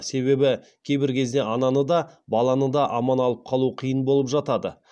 себебі кейбір кезде ананы да баланы да аман алып қалу қиын болып жатады